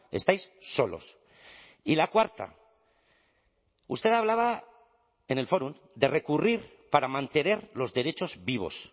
estáis solos y la cuarta usted hablaba en el fórum de recurrir para mantener los derechos vivos